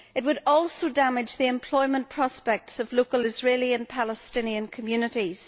It would also damage the employment prospects for local Israeli and Palestinian communities.